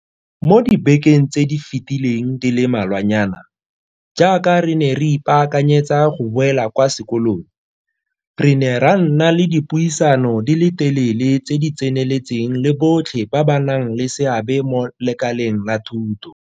Mo dibekeng tse di fetileng di le malwanyana, jaaka re ne re ipaakanyetsa go boela kwa sekolong, re ne ra nna le dipuisano di le telele tse di tseneletseng le botlhe ba ba nang le seabe mo lekaleng la thuto.